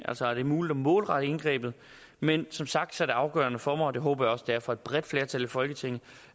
er muligt at målrette indgrebet men som sagt er det afgørende for mig og det håber jeg også at det er for et bredt flertal i folketinget